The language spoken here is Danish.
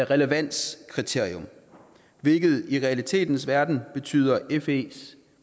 relevanskriterium hvilket i realitetens verden betyder fes